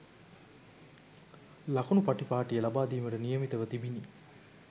ලකුණු පටිපාටිය ලබාදීමට නියමිතව තිබිණි